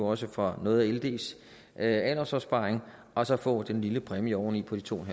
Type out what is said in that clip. også fra noget af lds aldersopsparing og så få den lille præmie oveni på de to